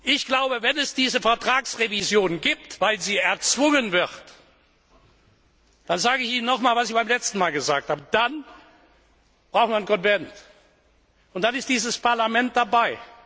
Ich glaube, wenn es diese Vertragsrevision gibt, weil sie erzwungen wird, dann sage ich Ihnen noch einmal, was ich Ihnen beim letzten Mal gesagt habe, dann braucht man einen Konvent, und dann ist dieses Parlament dabei.